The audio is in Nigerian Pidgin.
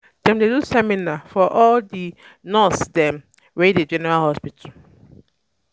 Dem dey do seminar um for for all di nurse dem wey dey general hospital.